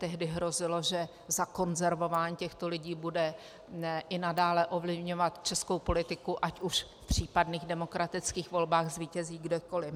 Tehdy hrozilo, že zakonzervování těchto lidí bude i nadále ovlivňovat českou politiku, ať už v případných demokratických volbách zvítězí kdokoliv.